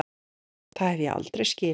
Það hef ég aldrei skilið.